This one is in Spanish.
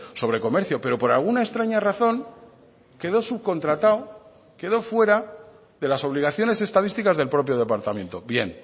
sobre comercio pero por alguna extraña razón quedó subcontratado quedó fuera de las obligaciones estadísticas del propio departamento bien